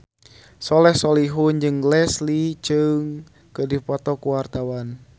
Soleh Solihun jeung Leslie Cheung keur dipoto ku wartawan